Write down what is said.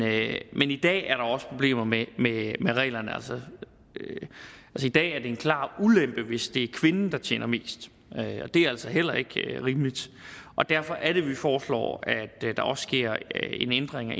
i dag er der også problemer med reglerne i dag er det en klar ulempe hvis det er kvinden der tjener mest og det er altså heller ikke rimeligt derfor er det vi foreslår at der også sker en ændring af